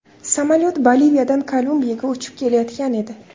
Samolyot Boliviyadan Kolumbiyaga uchib kelayotgan edi.